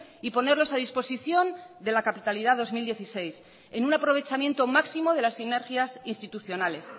y ponerlos a disposición de la capitalidad dos mil dieciséis en un aprovechamiento máximo de las sinergias institucionales